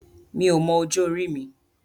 Mi ò mọ ọjọ́ orí mi.